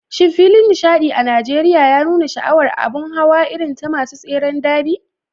Shin filin nishaɗi a Najeriya ya nuna sha'awar a abun hawa irin ta masu tseren darby?